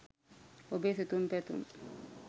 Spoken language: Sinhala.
ඔබේ සිතුම් පැතුම්